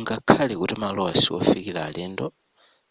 ngakhale kuti malowa siofikila alendo